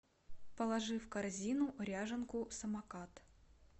положи в корзину ряженку самокат